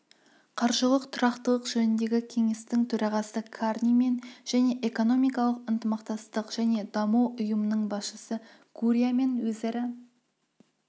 қаржылық тұрақтылық жөніндегі кеңестің төрағасы карнимен және экономикалық ынтымақтастық және даму ұйымының басшысы гурриамен өзара